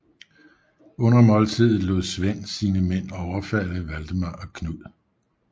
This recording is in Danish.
Under måltidet lod Svend sine mænd overfalde Valdemar og Knud